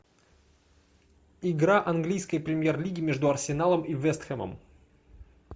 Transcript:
игра английской премьер лиги между арсеналом и вест хэмом